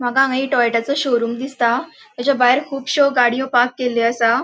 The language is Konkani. माका हांगा एक टोयोटाचो शोरूम दिसता. तेजा भायर खुबश्यो गाड़ियों पार्क केलयों असा.